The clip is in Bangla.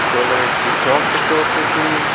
জলের একটি জগ দেখতে পারতেসি।